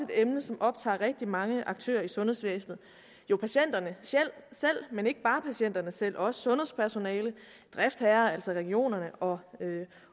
emne som optager rigtig mange aktører i sundhedsvæsenet jo patienterne selv men ikke bare patienterne selv også sundhedspersonalet driftsherrerne altså regionerne og